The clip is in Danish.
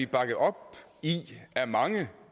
bakket op i af mange